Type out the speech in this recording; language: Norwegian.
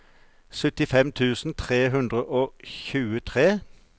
syttifem tusen tre hundre og tjuetre